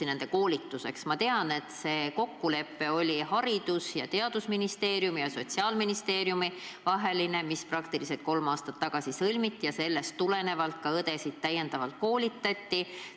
Ma tean, et praktiliselt kolm aastat tagasi sõlmiti Haridus- ja Teadusministeeriumi ja Sotsiaalministeeriumi vaheline kokkulepe, millest tulenevalt koolitati täiendavalt õdesid.